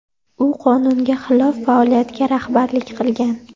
U qonunga xilof faoliyatga rahbarlik qilgan.